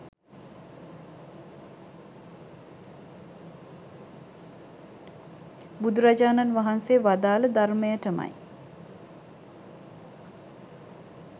බුදුරජාණන් වහන්සේ වදාළ ධර්මයටමයි